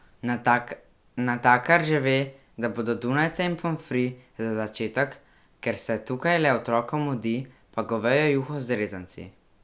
Natakar že ve, da bodo dunajca in pomfri, za začetek, ker se tukaj le otrokom mudi, pa govejo juho z rezanci.